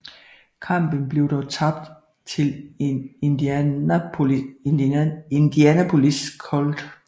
Kampen blev dog tabt til Indianapolis Colts